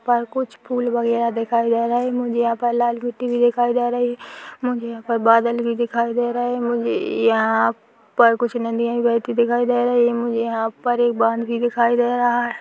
पर कुछ फूल वगेरा दिखाई दे रहे है मुझे यहाँ पर लाल मिट्टी भी दिखाई दे रही है मुझे यहाँ पर बादल भी दिखाई दे रहे है मुझे यहाँ पर कुछ नदियां भी बहती दिखाई दे रही है मुझे यहाँ पर एक बांध भी दिखाई दे रहा है।